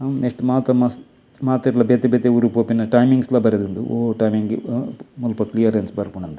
ನೆಟ್ಟ್ ಮಾತ ಮಸ್ತ್ ಮಾತೆರ್ಲ ಬೇತೆ ಬೇತೆ ಊರು ಪೊಪಿನ ಟೈಮಿಂಗ್ಸ್ ಲ ಬರೆದುಂಡು ಒವು ಟೈಮಿಂಗ್ ಮುಲ್ಪ ಕ್ಲಿಯರೆನ್ಸ್ ಬರ್ಪುನಾಂದ್.